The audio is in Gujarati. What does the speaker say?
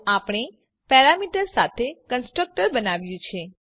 તો આપણે પેરામીટર્સ સાથે કન્સ્ટ્રક્ટર બનાવ્યું છે